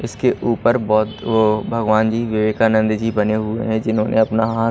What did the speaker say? इसके ऊपर बहोत वो भगवान जी विवेकानंद जी बने हुए हैं जिन्होंने अपना हाथ--